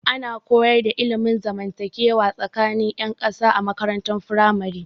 Ana koyar da ilmin zamantakewa tsakanin 'yan kasa a makarantar firamare.